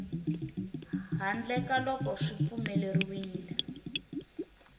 handle ka loko swi pfumeleriwile